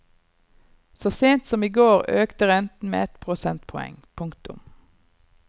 Så sent som i går økte renten med et prosentpoeng. punktum